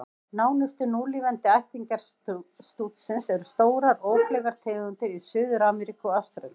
Nánustu núlifandi ættingjar stútsins eru stórar, ófleygar tegundir í Suður-Ameríku og Ástralíu.